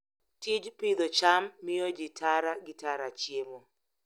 Tij pidho cham miyo ji tara gi tara chiemo.